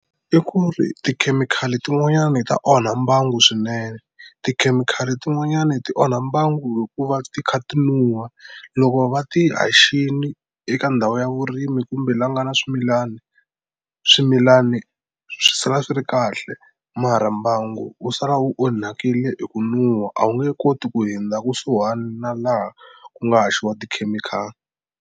I ku ri tikhemikhali tin'wanyani ta onha mbangu swinene tikhemikhali tin'wanyani ti onha mbangu hikuva ti kha ti nuha loko va ti haxini eka ndhawu ya vurimi kumbe la ku nga na swimilani swimilani swi sala swi ri kahle mara mbangu wu sala wu onhakile hi ku nuha a wu nge koti ku hundza kusuhana laha ku nga haxiwa tikhemikhali.